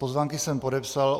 Pozvánky jsem podepsal.